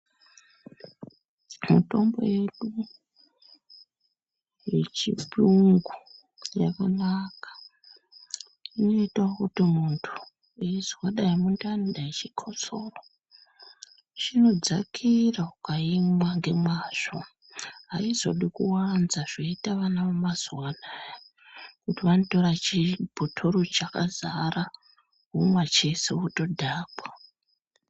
Mitombo yedu yechirungu yakanaka, inoyitawo kuti muntu eyizwa dayi mundani, dayi chikotsoro, chinodzakira ukayimwa ngemwazvo, hayizodi kuzowanza zvoyita vana vemazuwaanaya, kuti vanotora chibhotoro chakazara vomwa cheshe votodhakwa.